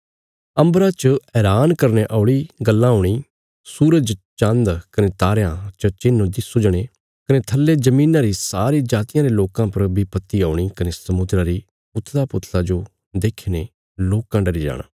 अम्बरा च हैरान करने औल़ी गल्लां हूणी सूरज चान्द कने तारयां च चिन्ह सुझणे कने थल्ले धरतिया री सारी जातियां रे लोकां पर विपत्ति औणी कने समुद्रा री उथलपुथला जो देखीने लोकां डरी जाणा